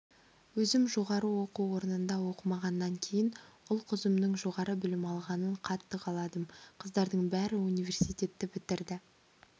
өзім жоғары оқу орнында оқымағаннан кейін ұл-қызымның жоғары білім алғанын қатты қаладым қыздардың бәрі университетті бітірді